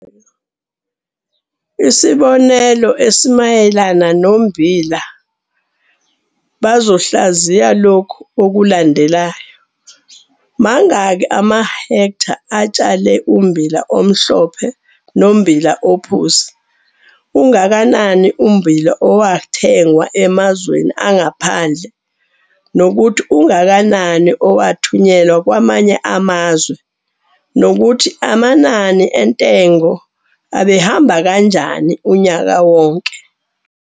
Isibonelo esimayelana nommbila, bazohlaziya lokhu okulandelayo- Mangaki amahektha atshale ummbila omhlophe nommbila ophuzi, ungakanani ummbila owathengwa emazweni angaphandle nokuthi ungakanai owathunyelwa kwamanye amazwe, nokuthi amanani entengo abehamba kanjani unyaka wonke.